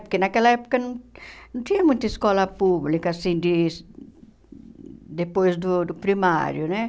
Porque naquela época não não tinha muita escola pública, assim, de depois do do primário, né?